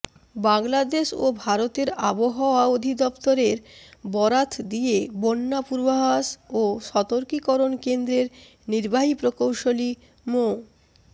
বাংলাদেশ ও ভারতের আবাহওয়া অধিদফতরের বরাত দিয়ে বন্যা পূর্বাভাস ও সতর্কীকরণ কেন্দ্রের নির্বাহী প্রকৌশলী মো